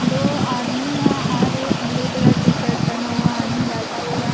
दो आदमी है हार एक ब्लू कलर टी शर्ट पहना हुआ आदमी बैठा हुआ है।